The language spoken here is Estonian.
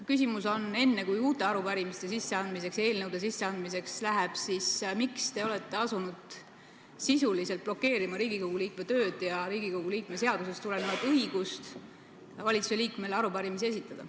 Küsimus on, enne kui uute arupärimiste ja eelnõude sisseandmiseks läheb, miks te olete asunud sisuliselt blokeerima Riigikogu liikmete tööd ja Riigikogu liikme seadusest tulenevat õigust valitsuse liikmele arupärimisi esitada.